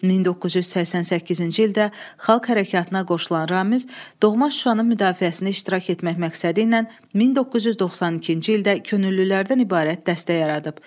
1988-ci ildə Xalq Hərəkatına qoşulan Ramiz doğma Şuşanın müdafiəsində iştirak etmək məqsədi ilə 1992-ci ildə könüllülərdən ibarət dəstə yaradıb.